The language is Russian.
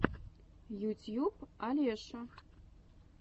ютьюб олеша